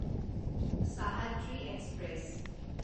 Sahyadri express